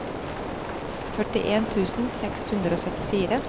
førtien tusen seks hundre og syttifire